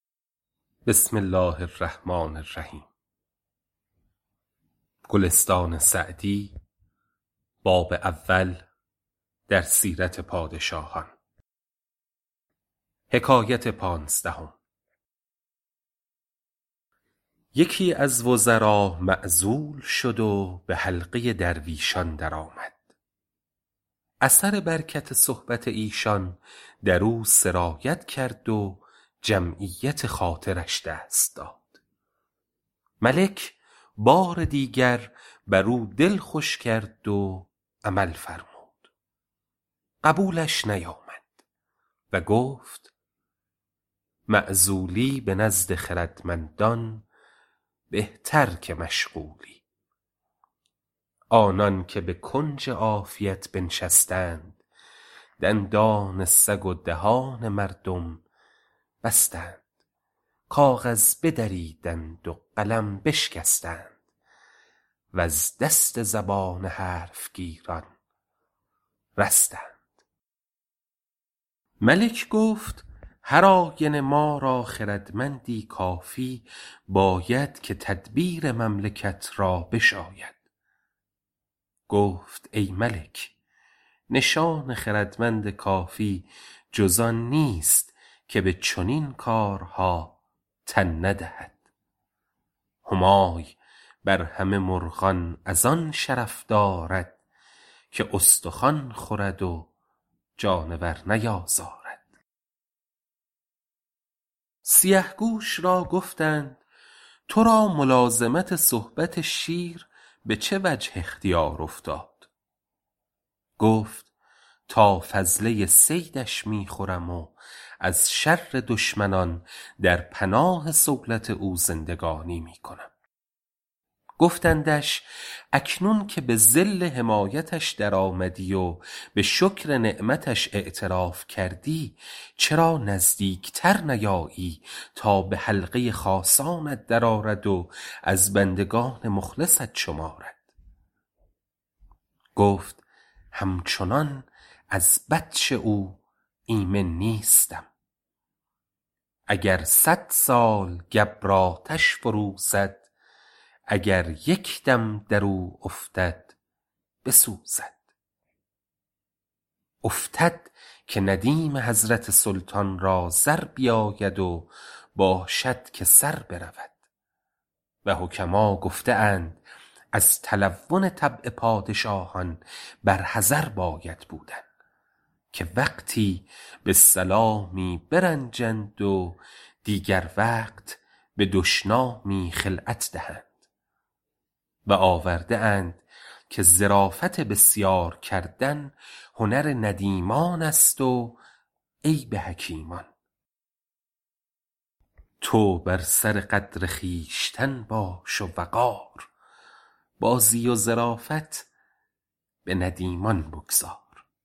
یکی از وزرا معزول شد و به حلقه درویشان درآمد اثر برکت صحبت ایشان در او سرایت کرد و جمعیت خاطرش دست داد ملک بار دیگر بر او دل خوش کرد و عمل فرمود قبولش نیامد و گفت معزولی به نزد خردمندان بهتر که مشغولی آنان که به کنج عافیت بنشستند دندان سگ و دهان مردم بستند کاغذ بدریدند و قلم بشکستند وز دست زبان حرف گیران رستند ملک گفتا هر آینه ما را خردمندی کافی باید که تدبیر مملکت را بشاید گفت ای ملک نشان خردمند کافی جز آن نیست که به چنین کارها تن ندهد همای بر همه مرغان از آن شرف دارد که استخوان خورد و جانور نیازارد سیه گوش را گفتند تو را ملازمت صحبت شیر به چه وجه اختیار افتاد گفت تا فضله صیدش می خورم و ز شر دشمنان در پناه صولت او زندگانی می کنم گفتندش اکنون که به ظل حمایتش در آمدی و به شکر نعمتش اعتراف کردی چرا نزدیک تر نیایی تا به حلقه خاصانت در آرد و از بندگان مخلصت شمارد گفت همچنان از بطش او ایمن نیستم اگر صد سال گبر آتش فروزد اگر یک دم در او افتد بسوزد افتد که ندیم حضرت سلطان را زر بیاید و باشد که سر برود و حکما گفته اند از تلون طبع پادشاهان بر حذر باید بودن که وقتی به سلامی برنجند و دیگر وقت به دشنامی خلعت دهند و آورده اند که ظرافت بسیار کردن هنر ندیمان است و عیب حکیمان تو بر سر قدر خویشتن باش و وقار بازی و ظرافت به ندیمان بگذار